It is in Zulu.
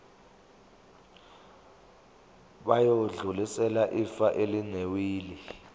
bayodlulisela ifa elinewili